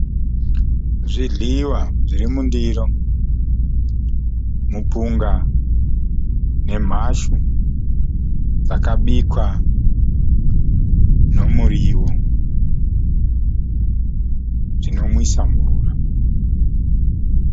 Zvidyiwa zvirimundiro. Mupunga nemhashu zvakabikwa nemuriwo , zvinonwisa mvura.